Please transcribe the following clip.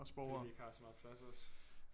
Fordi vi ikke har så meget plads også